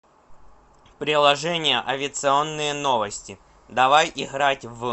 приложение авиационные новости давай играть в